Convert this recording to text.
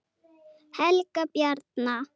Helga Bjarna.